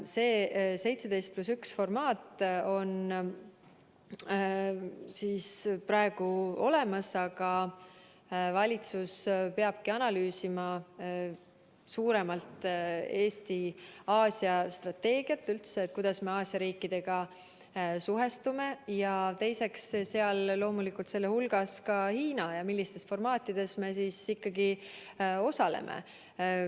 See 17 + 1 formaat on praegu olemas, aga valitsus peabki analüüsima Eesti Aasia-strateegiat suuremalt, et kuidas me üldse Aasia riikidega suhestume, sealhulgas loomulikult ka Hiinaga, ja millistes formaatides kohtumistel me ikkagi osaleme.